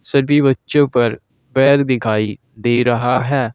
सभी बच्चों पर पैर दिखाई दे रहा है।